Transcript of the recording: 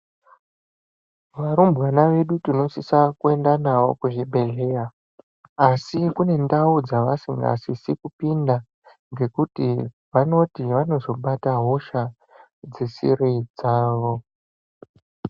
Varumbwana vedu tinosisa kuenda navo kuzvibhedhlera asi kune ndau dzavasingasisi kupinda ngekuti vanoti vanozobata hosha dzisiri dzawo.